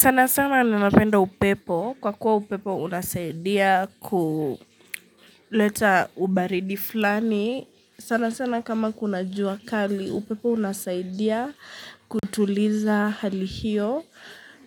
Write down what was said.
Sana sana ninapenda upepo. Kwa kuwa upepo unasaidia kuleta ubaridi fulani. Sana sana kama kuna jua kali upepo unasaidia kutuliza hali hiyo.